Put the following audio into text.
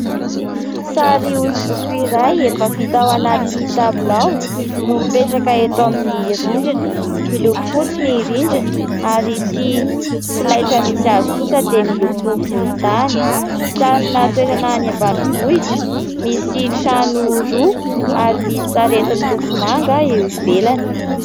Sary hosodoko iray efa vita ao anaty tabilao no mipetraka eto amin'ny rindrina, miloko fotsy ny rindrina ary ity solaitra misy azy kosa dia miloko volontany, sarina toerana any ambanivohitra misy trano roa ary misy sarety miloko manga eo ivelany.